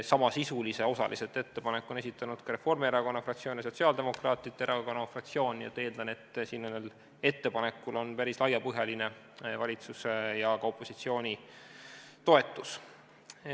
Osaliselt samasisulise ettepaneku on esitanud Reformierakonna fraktsioon ja Sotsiaaldemokraatliku Erakonna fraktsioon ning ma eeldan, et sellel ettepanekul on päris laiapõhjaline valitsuse ja ka opositsiooni toetus.